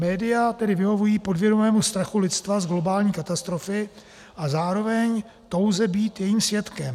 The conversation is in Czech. Média tedy vyhovují podvědomému strachu lidstva z globální katastrofy a zároveň touze být jejím svědkem.